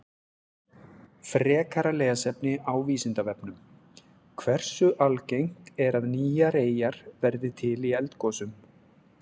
Frekara lesefni á Vísindavefnum: Hversu algengt er að nýjar eyjar verði til í eldgosum?